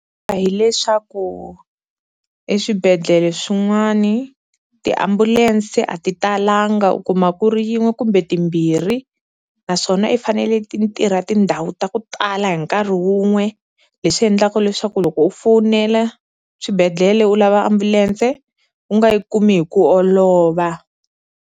hileswaku eswibedhlele swin'wani tiambulense a ti talanga, u kuma ku ri yin'we kumbe timbirhi naswona i fanele ti ntirha tindhawu ta ku tala hi nkarhi wun'we leswi endlaku leswaku loko u fowunela swibedhlele u lava ambulense u nga yi kumi hi ku olova.